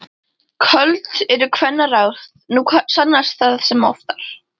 Köld eru kvennaráð, nú sannast það sem oftar.